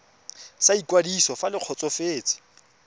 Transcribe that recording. sa ikwadiso fa le kgotsofetse